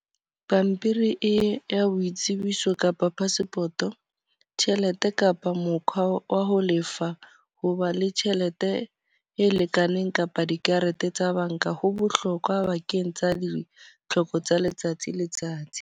Pampiri e ya boitsebiso kapa passport. Tjhelete kapa mokhwa wa ho lefa, ho ba le tjhelete e lekaneng kapa dikarete tsa banka. Ho bohlokwa bakeng tsa ditlhoko tsa letsatsi letsatsi.